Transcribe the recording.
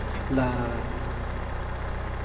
lärare